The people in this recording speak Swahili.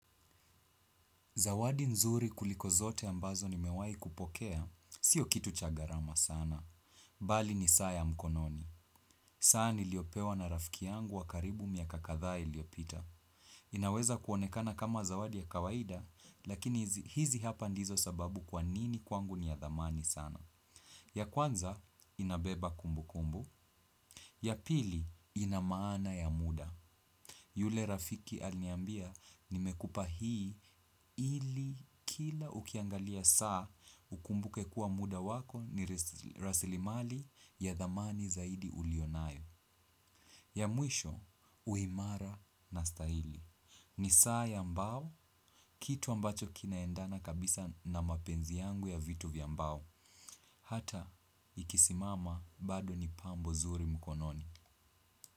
Zawadi nzuri kuliko zote ambazo nimewai kupokea. Sio kitu cha gharama sana. Bali ni saa ya mkononi. Saa niliopewa na rafiki yangu wa karibu miaka kadhaa iliopita. Inaweza kuonekana kama zawadi ya kawaida, lakini hizi hapa ndizo sababu kwa nini kwangu ni ya dhamani sana. Ya kwanza, inabeba kumbu kumbu. Ya pili, ina maana ya muda. Yule rafiki alniambia nimekupa hii ili kila ukiangalia saa ukumbuke kuwa muda wako ni rasilimali ya dhamani zaidi ulio nayo. Ya mwisho, uimara na stahili. Ni saa ya mbao, kitu ambacho kinaendana kabisa na mapenzi yangu ya vitu vya mbao. Hata, ikisimama bado ni pambo zuri mkononi.